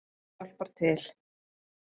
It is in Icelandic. Það hjálpar til